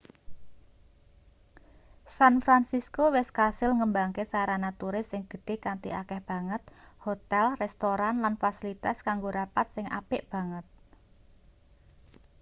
san fransisko wis kasil ngembangke sarana turis sing gedhe kanthi akeh banget hotel restoran lan fasilitas kanggo rapat sing apik banget